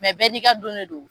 bɛɛ ni ka don ne don.